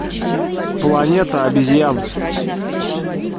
планета обезьян